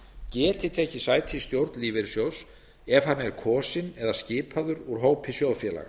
geti tekið sæti í stjórn lífeyrissjóðs ef hann er kosinn eða skipaður úr hópi sjóðfélaga